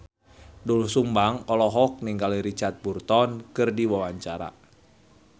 Doel Sumbang olohok ningali Richard Burton keur diwawancara